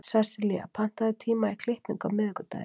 Sessilía, pantaðu tíma í klippingu á miðvikudaginn.